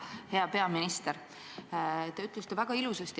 Hea peaminister!